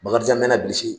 Bakarijan me na bilisi